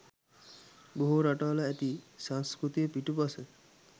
බොහෝ රටවල ඇති සංස්කෘතිය පිටුපස